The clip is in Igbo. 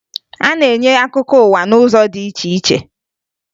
A na-enye akụkọ ụwa n'ụzọ dị iche iche